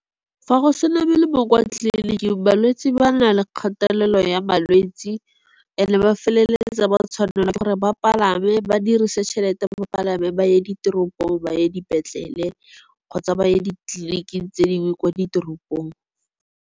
Fa go sena be le bo kwa tliliniki balwetse ba na le kgatelelo ya malwetsi. Ene ba feleletsa ba tshwanela ke gore ba palame ba dirise tšhelete ba palame ba ye diteropong, ba ye dipetlele kgotsa ba ye ditleliniking tse dingwe kwa ditoropong.